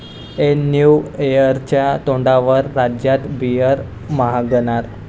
ऐन न्यू इयरच्या तोंडावर राज्यात बीअर महागणार